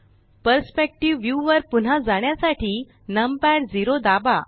perspective view वर पुन्हा जाण्यासाठी नमपॅड 0दाबा